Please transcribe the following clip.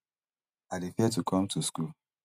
i dey fear to come to school